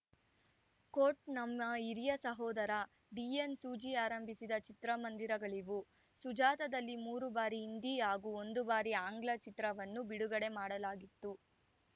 coat ನಮ್ಮ ಹಿರಿಯ ಸಹೋದರ ಡಿಎನ್‌ ಸೂಜಿ ಆರಂಭಿಸಿದ ಚಿತ್ರಮಂದಿರಗಳಿವು ಸುಜಾತಾದಲ್ಲಿ ಮೂರು ಬಾರಿ ಹಿಂದಿ ಹಾಗೂ ಒಂದು ಬಾರಿ ಆಂಗ್ಲ ಚಿತ್ರವನ್ನು ಬಿಡುಗಡೆ ಮಾಡಲಾಗಿತ್ತು